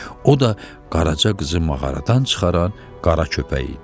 O da Qaraca qızı mağaradan çıxaran Qara köpək idi.